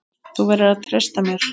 Þú verður að treysta mér